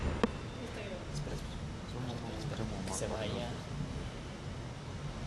Somo ma wuok e Muma, kod loso singo.